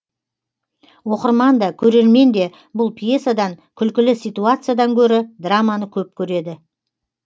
оқырман да көрермен де бұл пьесадан күлкілі ситуациядан гөрі драманы көп көреді